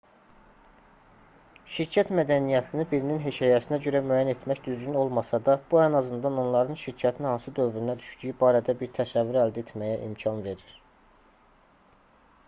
şirkət mədəniyyətini birinin hekayəsinə görə müəyyən etmək düzgün olmasa da bu ən azından onların şirkətin hansı dövrünə düşdüyü barədə bir təsəvvür əldə etməyə imkan verir